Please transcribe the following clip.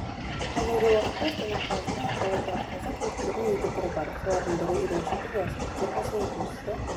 қазіргі уақытта астана қаласында экологиялық таза көліктердің екі түрі бар солардың бірі үйреншікті велосипедтер болса екіншісі